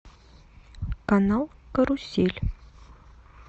канал карусель